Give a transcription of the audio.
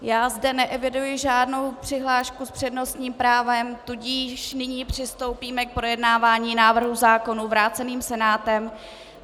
Já zde neeviduji žádnou přihlášku s přednostním právem, tudíž nyní přistoupíme k projednávání návrhů zákonů vrácených Senátem.